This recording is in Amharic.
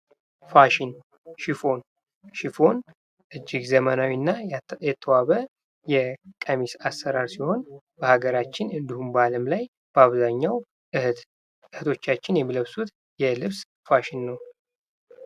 ፋሽን፦ ሽፎን ፦ ሽፎን እጅግ ዘመናዊና የተዋበ የቀሚስ አሰራር ሲሆን በሀገራችን እንዲሁም በአለም ላይ በአብዛኛው እህቶቻችን የሚለብሱት የልብስ ፋሽን ነው ።